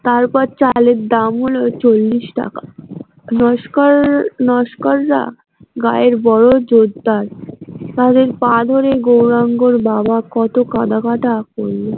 তারপর চালের দাম হলো চল্লিশ াকা নস্কর নস্কর রা গায়ের বড় জোরদার তাদের পা ধরে গৌরাঙ্গর বাবা কত কাঁদা কাঁদা করলো।